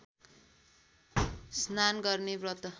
स्नान गर्ने व्रत